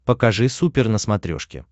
покажи супер на смотрешке